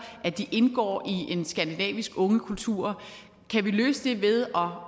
at de indgår i en skandinavisk ungekultur kan vi løse det ved